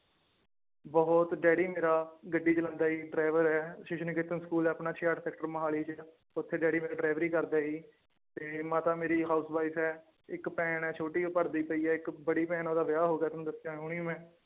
ਬਹੁਤ ਡੈਡੀ ਮੇਰਾ ਗੱਡੀ ਚਲਾਉਂਦਾ ਜੀ ਡਰਾਇਵਰ ਹੈ ਅਸੀਸ਼ ਨਿਕੇਤਨ ਸਕੂਲ ਹੈ ਆਪਣਾ ਛਿਆਹਠ ਸੈਕਟਰ ਮੁਹਾਲੀ ਚ ਉੱਥੇ ਡੈਡੀ ਮੇਰਾ ਡਰਾਇਵਰੀ ਕਰਦਾ ਹੈ ਜੀ ਤੇ ਮਾਤਾ ਮੇਰੀ house wife ਹੈ ਇੱਕ ਭੈਣ ਹੈ ਛੋਟੀ ਉਹ ਪੜ੍ਹਦੀ ਪਈ ਹੈ ਇੱਕ ਬੜੀ ਭੈਣ ਹੈ ਉਹਦਾ ਵਿਆਹ ਹੋ ਗਿਆ ਤੁਹਾਨੂੰ ਦੱਸਿਆਂ ਹੁਣੀ ਮੈਂ।